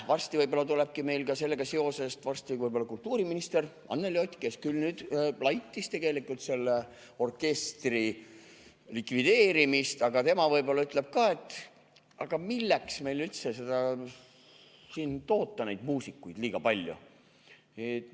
Varsti võib-olla tulebki meil sellega seoses kultuuriminister Anneli Ott, kes küll laitis tegelikult selle orkestri likvideerimist, aga ta võib-olla ütleb ka, et milleks meil üldse neid muusikuid nii palju toota.